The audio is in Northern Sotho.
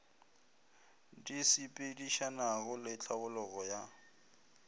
di sepedišanago le tlhabologo ya